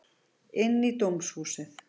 Inn í dómhúsið.